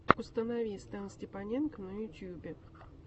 установи стэнстепаненко на ютюбе